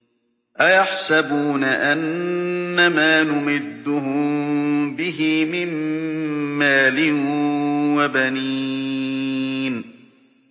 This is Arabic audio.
أَيَحْسَبُونَ أَنَّمَا نُمِدُّهُم بِهِ مِن مَّالٍ وَبَنِينَ